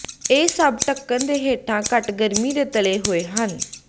ਇਹ ਸਭ ਢੱਕਣ ਦੇ ਹੇਠਾਂ ਘੱਟ ਗਰਮੀ ਤੇ ਤਲੇ ਹੋਏ ਹਨ